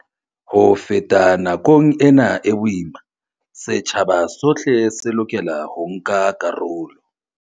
Ho feta nakong ena e boima, setjhaba sohle se lokela ho nka karolo.